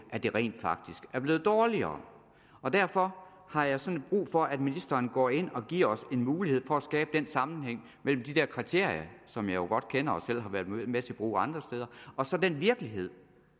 at det rent faktisk er blevet dårligere derfor har jeg sådan brug for at ministeren går ind og giver os en mulighed for at skabe den sammenhæng mellem de der kriterier som jeg jo godt kender og selv har været med til at bruge andre steder og så den virkelighed